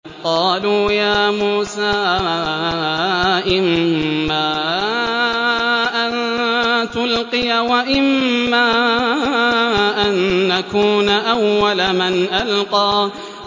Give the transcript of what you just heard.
قَالُوا يَا مُوسَىٰ إِمَّا أَن تُلْقِيَ وَإِمَّا أَن نَّكُونَ أَوَّلَ مَنْ أَلْقَىٰ